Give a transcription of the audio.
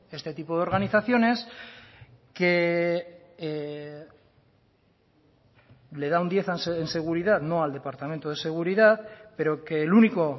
este tipo de organizaciones que le da un diez en seguridad no al departamento de seguridad pero que el único